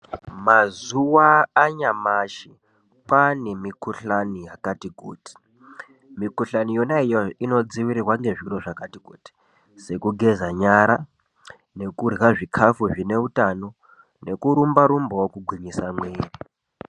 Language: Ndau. Mazuwa anyamashi kwane mikhuhlani yakati kuti, mikhuhlani yona iyoyo inodzivirira ngezviro zvakati kuti sekugeza nyara nekurya zvikafu zvine utano nekurumbarumbawo kugwinyisa mwiri.